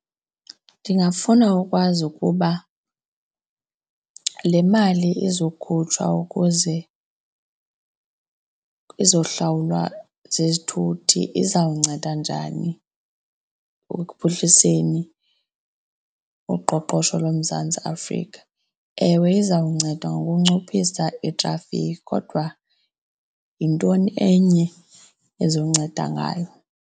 Ndingafuna ukwazi ukuba le mali izokhutshwa ukuze izohlawulwa zizithuthi izawunceda njani ekuphuhliseni uqoqosho loMzantsi Afrika. Ewe, izawunceda ngokunciphisa itrafikhi kodwa yintoni enye ezawunceda ngayo?